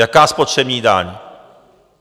Jaká spotřební daň?